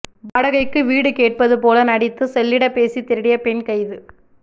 வாடகைக்கு வீடு கேட்பது போல நடித்து செல்லிடப்பேசி திருடிய பெண் கைது